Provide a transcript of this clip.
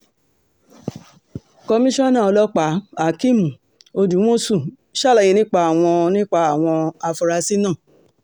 komisanna ọlọ́pàáhakeem odúmọ̀ṣù ṣàlàyé nípa àwọn nípa àwọn afurasí náà